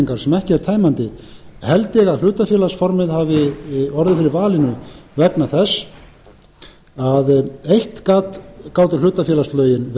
upptalningar sem ekki er tæmandi held ég að hlutafélagsformið hafi orðið fyrir valinu vegna þess að eitt gátu